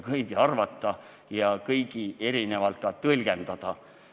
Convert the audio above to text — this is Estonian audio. Kõik võivad midagi minu kohta arvata ja mida tahes tõlgendada.